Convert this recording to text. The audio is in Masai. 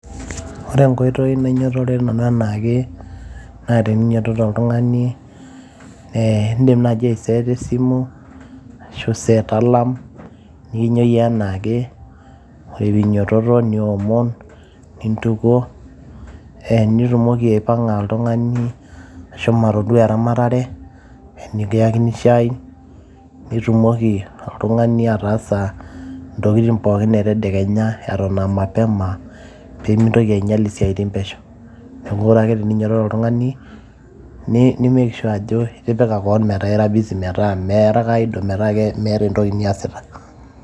Ore enkoitoi nainyiototore nanu enaake naa eninyiototo oltung'ani ee iindim naaji ake aiseeta esimu ashu iset alarm nikinyioyie enaake, ore pee inyiototo niomon, nintukuo nitumoki aipang'a oltung'ani ashomo atoduaa eramatare nekiyakini shaai nitumoki oltung'ani ataasa intokitin pookin etedekenya eton aa mapema pee mintoki ainyial isiaitin pesho, ore ake teninyiototo oltung'ani ni make sure ajo ira busy metaa iata eniasita.